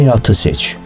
Həyatı seç.